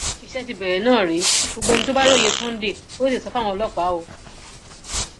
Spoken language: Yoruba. iṣẹ ti bẹrẹ náà rèé gbogbo ẹni tó bá róye sunday kò tètè sọ fáwọn ọlọpàá o